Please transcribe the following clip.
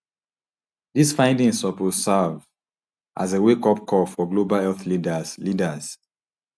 dis findings suppose serve as a wakeup call for global health leaders leaders